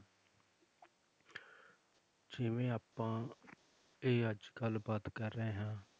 ਜਿਵੇਂ ਆਪਾਂ ਇਹ ਅੱਜ ਗੱਲਬਾਤ ਕਰ ਰਹੇ ਹਾਂ,